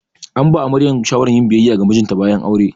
An ba amaryar shawaran yin biyayya ga mijinta bayan aure.